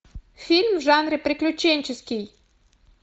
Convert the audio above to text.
фильм в жанре приключенческий